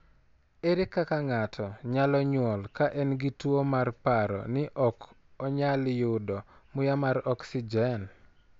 Ere kaka ng'ato nyalo nyuol ka en gi tuwo mar paro ni ok onyal yudo muya mar oxygen?